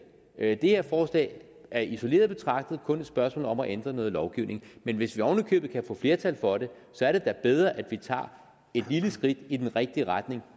det her forslag er isoleret betragtet kun et spørgsmål om at ændre noget lovgivning men hvis vi oven i købet kan få flertal for det så er det da bedre at vi tager et lille skridt i den rigtige retning